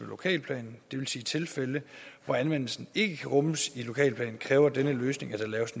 lokalplanen det vil sige tilfælde hvor anvendelsen ikke kan rummes i lokalplanen kræver denne løsning at der laves